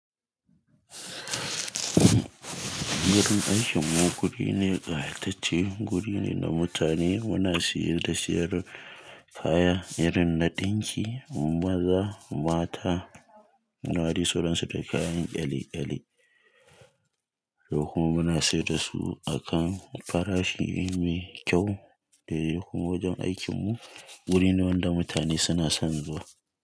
Yin aikinmu guri ne ƙayatacce, guri ne da mutane muna siyar da siyar kayan irin na ɗinki, maza, mata, nuwari suransu da kayan kyale-kyale. Da kuma muna siyar da su a kan farashi ne mai kyau. Da kuma wajen aikinmu guri ne wanda mutane suna son zuwa.